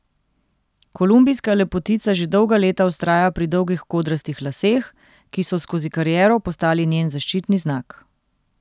Kolumbijska lepotica že dolga leta vztraja pri dolgih kodrastih laseh, ki so skozi kariero postali njen zaščitni znak.